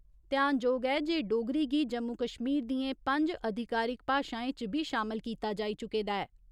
ध्यानजोग ऐ जे डोगरी गी जम्मू कश्मीर दियें पंज अधिकारिक भाशाएं च बी शामल कीता जाई चुके दा ऐ।